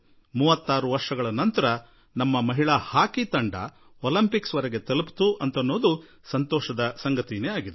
36 ವರ್ಷಗಳ ನಂತರ ಮಹಿಳಾ ಹಾಕಿ ತಂಡ ಒಲಿಂಪಿಂಕ್ಸ್ ವರೆಗೆ ತಲುಪಿದ ಸಂಗತಿ ತಿಳಿದು ನಿಮಗೆ ಸಂತೋಷವಾದೀತು